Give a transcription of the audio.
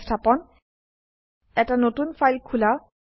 সংস্থাপন এটা নতুন ফাইল খোলা